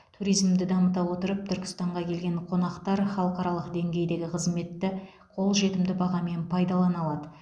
туризмді дамыта отырып түркістанға келген қонақтар халықаралық деңгейдегі қызметті қолжетімді бағамен пайдалана алады